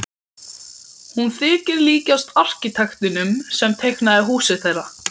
Hún þykir líkjast arkitektinum sem teiknaði húsið þeirra.